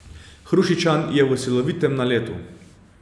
Hrušičan je v silovitem naletu.